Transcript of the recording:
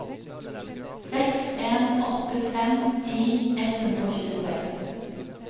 seks en åtte fem ti ett hundre og tjueseks